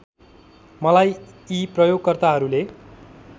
मलाई यी प्रयोगकर्ताहरूले